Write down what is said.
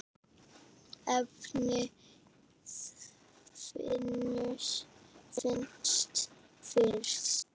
efnið fannst fyrst.